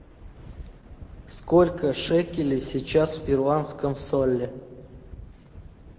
сколько шекелей сейчас в перуанском соле